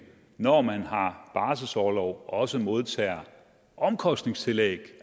når man har barselsorlov også modtager omkostningstillæg